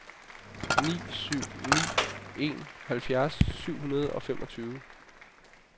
ni syv ni en halvfjerds syv hundrede og femogfyrre